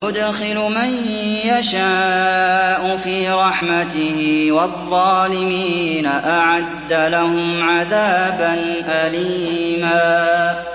يُدْخِلُ مَن يَشَاءُ فِي رَحْمَتِهِ ۚ وَالظَّالِمِينَ أَعَدَّ لَهُمْ عَذَابًا أَلِيمًا